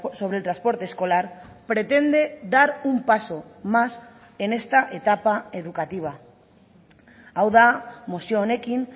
sobre el transporte escolar pretende dar un paso más en esta etapa educativa hau da mozio honekin